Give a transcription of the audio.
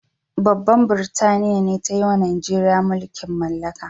Babban burtaniya be tayiwa Nijeriya mulki'n mallaka.